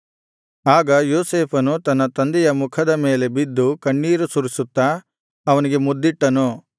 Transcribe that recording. ಆಗ ಯೋಸೇಫನು ತನ್ನ ತಂದೆಯ ಮುಖದ ಮೇಲೆ ಬಿದ್ದು ಕಣ್ಣೀರು ಸುರಿಸುತ್ತಾ ಅವನಿಗೆ ಮುದ್ದಿಟ್ಟನು